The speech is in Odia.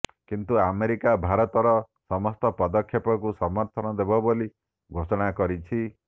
କିନ୍ତୁ ଆମେରିକା ଭାରତର ସମସ୍ତ ପଦକ୍ଷେପକୁ ସମର୍ଥନ ଦେବ ବୋଲି ଘୋଷଣା କରିଛି